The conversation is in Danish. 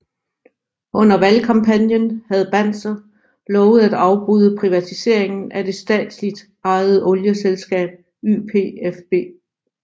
Under valgkampagnen havde Banzer lovet at afbryde privatiseringen af det statsligt ejede olieselskab YPFB